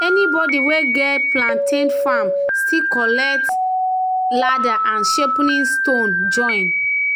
"anybody wey get di plantain farm still collect di still collect di ladder and sharpening stone join."